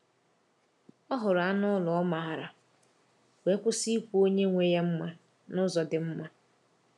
Ọ hụrụ anụ ụlọ ọ maara, wee kwụsị ikwu onye nwe ya mma n’ụzọ dị mma.